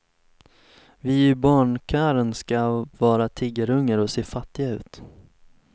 Vi i barnkören ska vara tiggarungar och se fattiga ut.